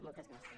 moltes gràcies